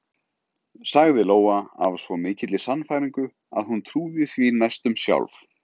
sagði Lóa af svo mikilli sannfæringu að hún trúði því næstum sjálf.